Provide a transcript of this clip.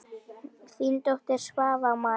Þín dóttir, Svava María.